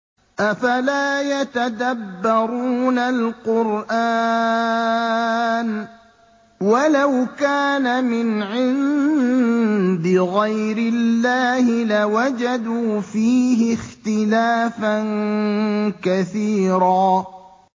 أَفَلَا يَتَدَبَّرُونَ الْقُرْآنَ ۚ وَلَوْ كَانَ مِنْ عِندِ غَيْرِ اللَّهِ لَوَجَدُوا فِيهِ اخْتِلَافًا كَثِيرًا